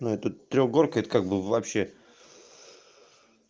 ну это трёхгорка это как бы вообще